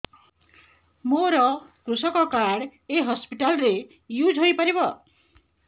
ମୋର କୃଷକ କାର୍ଡ ଏ ହସପିଟାଲ ରେ ୟୁଜ଼ ହୋଇପାରିବ